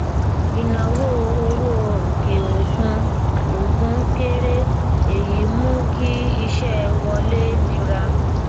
ìnáwó owó òkè òkun òkun kéré èyí mú kí iṣẹ wọlé nira